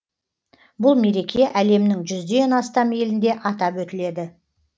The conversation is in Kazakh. бұл мереке әлемнің жүзден астам елінде атап өтіледі